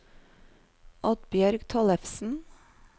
Oddbjørg Tollefsen